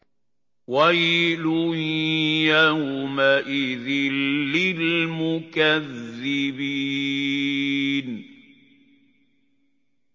وَيْلٌ يَوْمَئِذٍ لِّلْمُكَذِّبِينَ